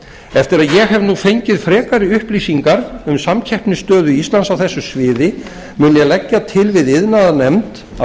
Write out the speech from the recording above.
eftir að ég hef nú fengið frekari upplýsingar um samkeppnisstöðu íslands á þessu sviði mun ég leggja til við iðnaðarnefnd að